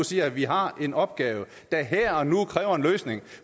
siger at vi har en opgave der her og nu kræver en løsning